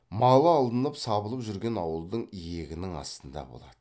малы алынып сабылып жүрген ауылдың иегінің астында болады